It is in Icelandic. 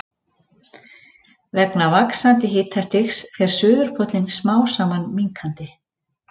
vegna vaxandi hitastigs fer suðurpóllinn smám saman minnkandi